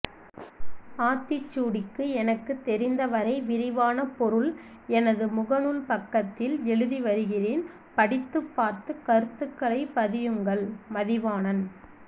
ஆத்்திச்்சூடிக்்கு எனக்்குத்்தெரிந்்தவரை விரிவான பொருள்் எனதுமுகநூல்்பக்்கத்்தில்் எழுதிவருகிறேன்் படித்்துப்்பாத்்து கருத்்துக்்களை பதியுங்்கள்் மதிவாணன்்